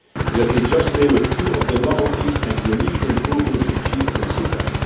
the system. Let me cite a few of the novelties and unique improvements achieved